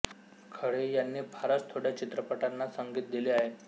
खळे यांनी फारच थोड्या चित्रपटांना संगीत दिले आहे